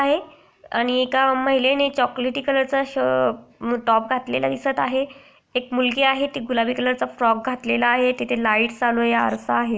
आहे आणि एका महिलेने चॉकलेटी कलर चा श टॉप घातलेला दिसत आहे एक मुलगी आहे तीने गुलाबी कलर च फ्रॉक घातलेला आहे तेथे लाइट्स चालू आहे आरसा आहे.